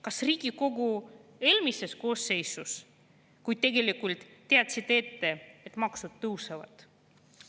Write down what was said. Kas Riigikogu eelmises koosseisus, kui tegelikult teadsite ette, et maksud tõusevad?